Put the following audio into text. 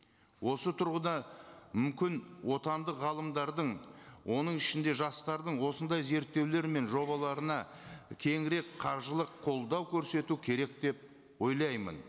осы тұрғыда мүмкін отандық ғалымдардың оның ішінде жастардың осындай зерттеулері мен жобаларына кеңірек қаржылық қолдау көрсету керек деп ойлаймын